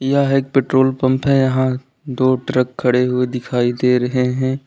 यह एक petrol pump है यहां दो ट्रक खड़े हुए दिखाई दे रहे हैं।